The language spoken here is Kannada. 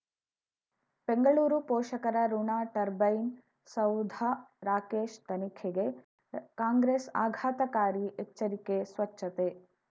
ಬೆಂಗಳೂರು ಪೋಷಕರಋಣ ಟರ್ಬೈನು ಸೌಧ ರಾಕೇಶ್ ತನಿಖೆಗೆ ಕಾಂಗ್ರೆಸ್ ಆಘಾತಕಾರಿ ಎಚ್ಚರಿಕೆ ಸ್ವಚ್ಛತೆ